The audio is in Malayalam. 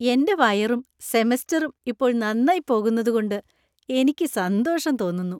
എന്‍റെ വയറും സെമസ്റ്ററും ഇപ്പോൾ നന്നായി പോകുന്നതുകൊണ്ട് എനിക്ക് സന്തോഷം തോന്നുന്നു.